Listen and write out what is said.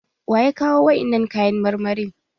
Waya kawo wa'innan kayan marmarin?